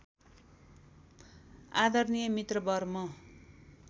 आदरणीय मित्रवर म